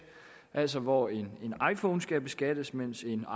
altså hvor en iphone skal beskattes mens en